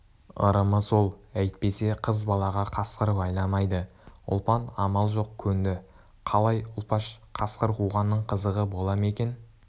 ырымы сол әйтпесе қыз балаға қасқыр байламайды ұлпан амал жоқ көнді қалай ұлпаш қасқыр қуғанның қызығы бола ма екен